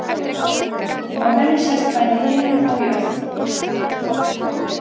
Á henni sést bæði himinn og jörð.